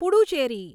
Puducherry